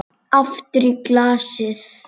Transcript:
Aftur í glasið.